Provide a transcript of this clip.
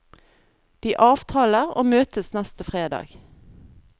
De avtaler og møtes neste fredag.